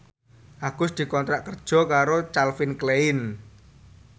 Agus dikontrak kerja karo Calvin Klein